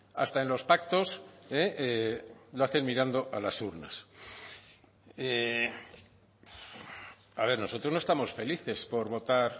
hasta en los pactos lo hacen mirando a las urnas a ver nosotros no estamos felices por votar